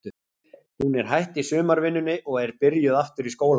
Hún er hætt í sumarvinnunni og er byrjuð aftur í skólanum.